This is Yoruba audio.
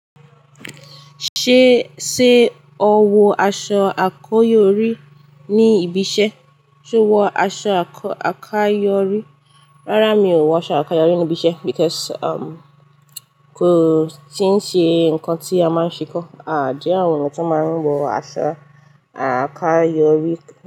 Ṣé, ṣe o wọ aṣọ àkáyọrí ní ibi iṣẹ́? Ṣe o wọ aṣọ àkáyọrí? Rárá mi ò wọ aṣọ àkáyọrí ní ibi iṣẹ́ because ko ti n ṣe nkan ti a maa n ṣe ko. À jẹ àwọn ti wọn maa n wọ aṣọ àkáyọrí.